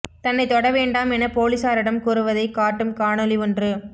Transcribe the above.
தன்னைத் தொட வேண்டாம் என போலிசாரிடம் கூறுவதை க் காட்டும் காணொளி ஒன்று